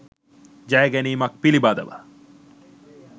ජය ගැනීමක් පිළිබඳව